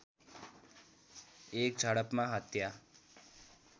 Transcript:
एक झडपमा हत्या